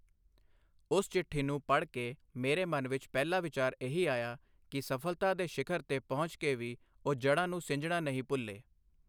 ਉਸ ਚਿੱਠੀ ਨੂੰ ਪੜ੍ਹ ਕੇ ਮੇਰੇ ਮਨ ਵਿੱਚ ਪਹਿਲਾ ਵਿਚਾਰ ਇਹੀ ਆਇਆ ਕਿ ਸਫ਼ਲਤਾ ਦੇ ਸ਼ਿਖ਼ਰ ਤੇ ਪਹੁੰਚ ਕੇ ਵੀ ਉਹ ਜੜ੍ਹਾਂ ਨੂੰ ਸਿੰਜਣਾ ਨਹੀਂ ਭੁੱਲੇ।